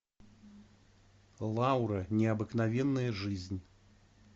лаура необыкновенная жизнь